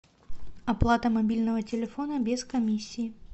оплата мобильного телефона без комиссии